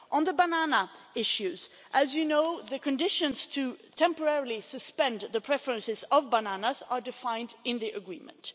On the banana issues as you know the conditions to suspend temporarily the preferences for bananas are defined in the Agreement.